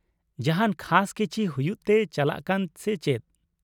ᱡᱟᱦᱟᱸᱱ ᱠᱷᱟᱥ ᱠᱤᱪᱷᱤ ᱦᱩᱭᱩᱜ ᱛᱮ ᱪᱟᱞᱟᱜ ᱠᱟᱱ ᱥᱮ ᱪᱮᱫ ?